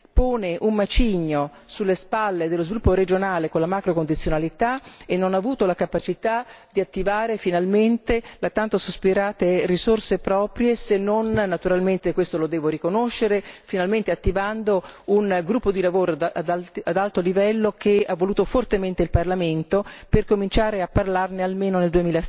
pone un macigno sulle spalle dello sviluppo regionale con la macrocondizionalità e non ha avuto la capacità di attivare finalmente le tanto sospirate risorse proprie se non attivando finalmente questo lo devo riconoscere un gruppo di lavoro ad alto livello che ha voluto fortemente il Parlamento per cominciare a parlarne almeno nel